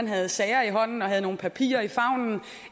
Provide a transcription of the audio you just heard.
havde sager i hånden og havde nogle papirer i favnen